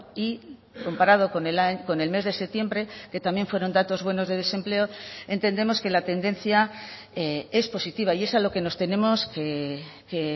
y comparado con el mes de septiembre que también fueron datos buenos de desempleo entendemos que la tendencia es positiva y es a lo que nos tenemos que